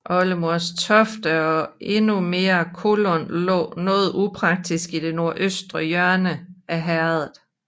Oldemorstoft og endnu mere Kollund lå noget upraktisk i det nordøstre hjørne af herredet